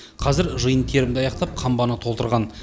қазір жиын терімді аяқтап қамбаны толтырған